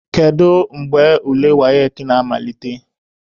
Kedu mgbe ule WAEC na-amalite?